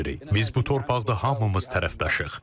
Biz bu torpaqda hamımız tərəfdaşıq.